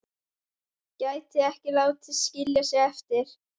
Gæti ekki látið skilja sig eftir.